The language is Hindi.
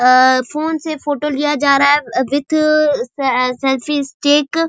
अ फोन से फोटो लिया जा रहा है विथ स सेल्फी स्टिक .